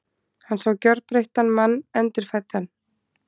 Hann sá gjörbreyttan mann, endurfæddan.